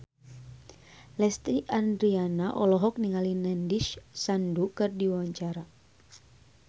Lesti Andryani olohok ningali Nandish Sandhu keur diwawancara